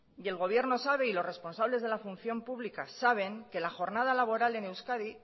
y el gobierno sabe y los responsables de la función pública saben que la jornada laboral en euskadi